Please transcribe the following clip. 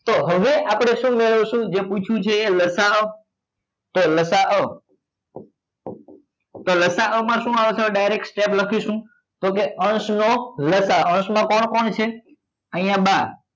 તો હવે આપડે શું મેળવશું જે પૂછ્યું છે એ લસા અ તો લસા અ તો લસા અ માં શું આવશે direct step લખીશું તો કે અંશ નો લસા અ અંશ માં કોણ કોણ છે